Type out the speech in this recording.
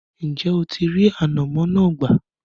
ǹjẹ́ o ti rí “ànàmọ́” náà gbà?